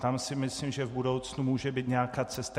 Tam si myslím, že v budoucnu může být nějaká cesta.